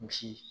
Misi